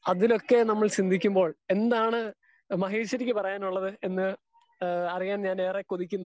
Speaker 2 അതിനൊക്കെ നമ്മൾ ചിന്തിക്കുമ്പോൾ എന്താണ് മഹേഷ്വാരിക്കൂ പറയാനുള്ളത് എന്ന് അറിയാൻ ഞാൻ ഏറെ കൊതിക്കുന്നു.